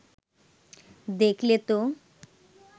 দেখলে তো